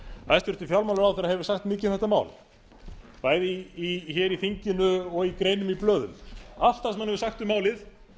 hæstvirtur fjármálaráðherra hefur sagt mikið um þetta mál bæði hér í þinginu og í greinum í blöðum allt það sem hann hefur sagt um málið